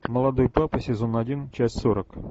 молодой папа сезон один часть сорок